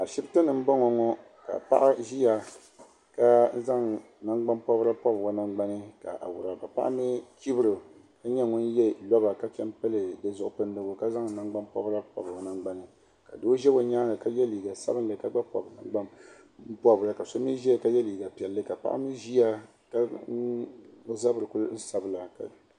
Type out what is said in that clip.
Ashipti ni nboŋɔ ŋɔ ka paɣ ʒiya ka zaŋ nangbanpɔbrigu pɔbi o nangbani ka awuraba paɣ mi chibri o ka nyɛ ŋun yɛ roba ka zaŋ nangbanpɔbrigu pɔbi o nangbani ka doo za o nyaaŋa ka yɛ liiga sabinli ka gba pɔbi ka so mi yɛ liiga pɛlli ka o zabri kuli sabigi